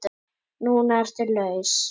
Núna ertu laus.